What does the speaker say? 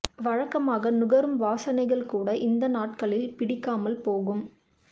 வழக்கமாக நுகரும் வாசனைகள் கூட இந்த நாட்களில் பிடிக்காமல் போகும்